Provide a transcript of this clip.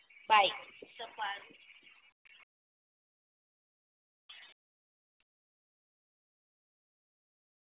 by